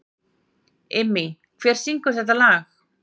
Immý, hver syngur þetta lag?